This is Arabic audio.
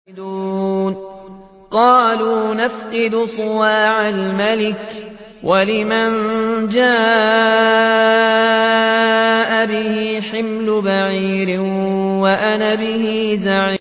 قَالُوا نَفْقِدُ صُوَاعَ الْمَلِكِ وَلِمَن جَاءَ بِهِ حِمْلُ بَعِيرٍ وَأَنَا بِهِ زَعِيمٌ